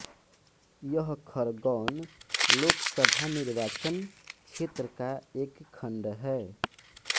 यह खरगौन लोकसभा निर्वाचन क्षेत्र का एक खंड है